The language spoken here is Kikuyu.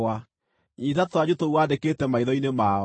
Nyiita tũthanju tũu wandĩkĩte maitho-inĩ mao,